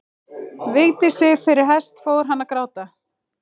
Vigdísi fyrir hest fór hann að gráta.